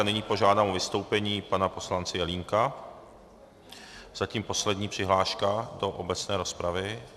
A nyní požádám o vystoupení pana poslance Jelínka, zatím poslední přihláška do obecné rozpravy.